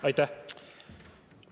Aitäh!